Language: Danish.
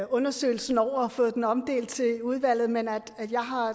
undersøgelsen over og fået den omdelt til udvalget men at jeg